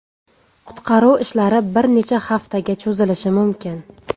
Qutqaruv ishlari bir necha haftaga cho‘zilishi mumkin.